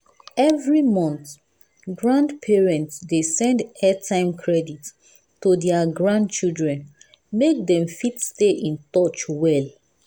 every month grandparents dey send airtime credit to their grandchildren make dem fit stay in touch well.